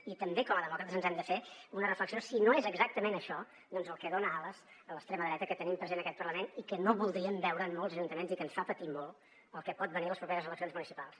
i també com a demòcrates ens hem de fer una reflexió si no és exactament això el que dona ales a l’extrema dreta que tenim present en aquest parlament i que no voldríem veure en molts ajuntaments i que ens fa patir molt el que pot venir a les properes eleccions municipals